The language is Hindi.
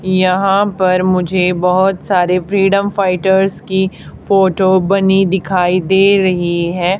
यहां पर मुझे बहोत सारे फ्रीडम फाइटर्स की फोटो बनी दिखाई दे रही है।